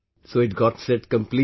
So it got set completely